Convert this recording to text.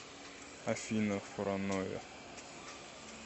афина параноя